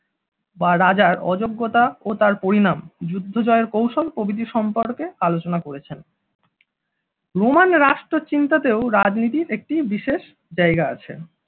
বা রাজার অযোগ্যতা ও তার পরিণাম যুদ্ধ জয়ের কৌশল প্রভৃতি সম্পর্কে আলোচনা করেছেন। রোমান রাষ্ট্রচিন্তাতেও রাজনীতির একটি বিশেষ জায়গা আছে।